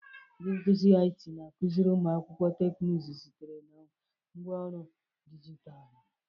Ndị nkuzi IT na-akụziri ụmụ akwụkwọ teknụzụ site na ngwaọrụ dijitalụ.